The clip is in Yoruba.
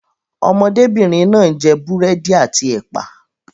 Ọmọdébìnrin náà ń jẹ búrẹ́dì àti ẹ̀pà.